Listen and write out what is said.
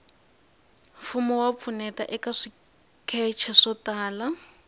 mfumo wa pfuneta eka swikece swo tala